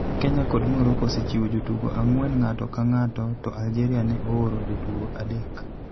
Kenya kod Morocco osechiwo jotugo ang'wen ng'ato ka ng'ato, to Algeria ne ooro jotugo adek.